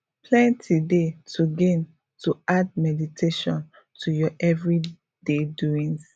plenty dey to gain to add meditation to ur everyday doings